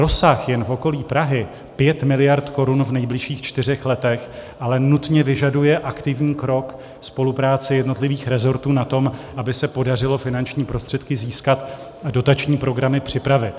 Rozsah jen v okolí Prahy 5 miliard korun v nejbližších čtyřech letech ale nutně vyžaduje aktivní krok, spolupráci jednotlivých resortů na tom, aby se podařilo finanční prostředky získat a dotační programy připravit.